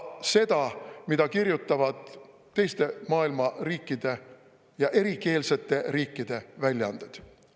… seda, mida kirjutavad teiste maailma riikide ja erikeelsete riikide väljaanded.